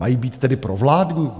Mají být tedy provládní?